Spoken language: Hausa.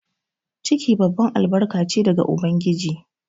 Ciki babban albarka che daga ubangiji.